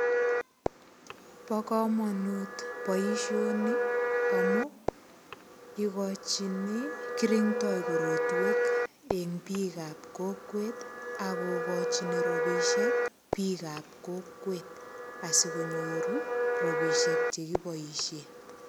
Bo komonut boishoni amu ikochini kirindo korotwek eng biik ap kokwet akokochini ropisiek biik ap kokwet asikonyoru ropisiek chekipoishe.